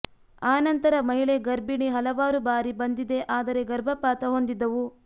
ಆ ನಂತರ ಮಹಿಳೆ ಗರ್ಭಿಣಿ ಹಲವಾರು ಬಾರಿ ಬಂದಿದೆ ಆದರೆ ಗರ್ಭಪಾತ ಹೊಂದಿದ್ದವು